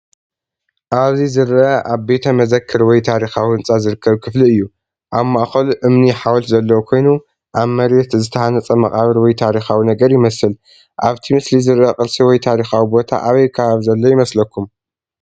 ኣብዚ ዝርአ ኣብ ቤተ መዘክር ወይ ታሪኻዊ ህንጻ ዝርከብ ክፍሊ እዩ። ኣብ ማእከሉ እምኒ ሓወልቲ ዘለዎ ኮይኑ ኣብ መሬት ዝተሃንጸ መቓብር ወይ ታሪኻዊ ነገር ይመስል። ኣብቲ ምስሊ ዝርአ ቅርሲ ወይ ታሪኻዊ ቦታ ኣበይ ከባቢ ዘሎ ይመስለኩም?